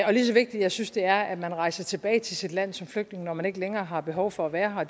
og lige så vigtigt jeg synes det er at man rejser tilbage til sit land som flygtning når man ikke længere har behov for at være her